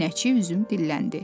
Pinəçi üzüm dilləndi.